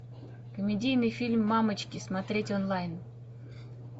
комедийный фильм мамочки смотреть онлайн